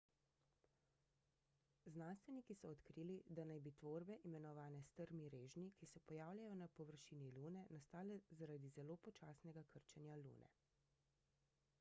znanstveniki so odkrili da naj bi tvorbe imenovane strmi režnji ki se pojavljajo na površini lune nastale zaradi zelo počasnega krčenja lune